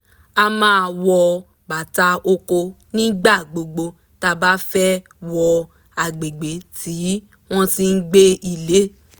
a máa wọ bàtà oko nígbà gbogbo tá bá fẹ́ wọ àgbègbè tí wọ́n ti gbé ilé